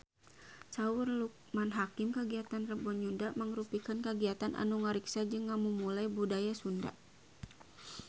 Saur Loekman Hakim kagiatan Rebo Nyunda mangrupikeun kagiatan anu ngariksa jeung ngamumule budaya Sunda